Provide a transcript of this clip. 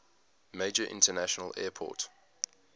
major international airport